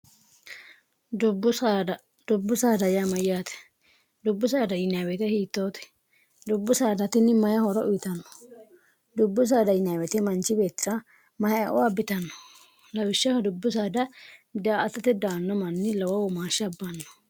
dubbu saada yaamayyaate dubbu saada yinweete hiittoote dubbu saadatinni mayi hora uyitanno dubbu saada yinweete manchi bexxa mayoabbitanno lawishshaho dubbu saada daaatate daanno manni law womaasshi abbaanno